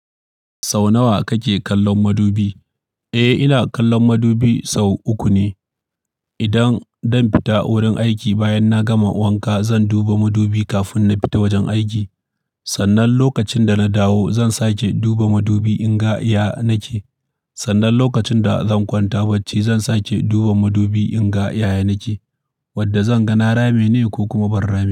Sau nawa kake kallon madubi? Eh, ina kallon madubi sau uku ne. Idan zan fita wurin aiki bayan na gama wanka, zan duba madubi kafin na fita wajen aiki. Sannan lokacin da na dawo, zan sake duba madubi in ga iya na ke. Sannan lokacin da zan kwanta bacci, zan sake duba madubi in ga yaya ni ke, wadda zan ga na rabe ne ko kuma ban rameba.